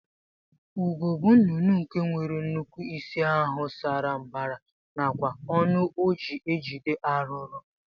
Ugo bu nnụnụ nke nwere nnukwu isi ahu sara mbara nakwa ọnụ oji ejide arụrụ